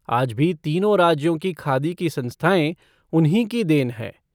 आज भी तीनो राज्यों की खादी की संस्थाएं उन्हीं की देन है।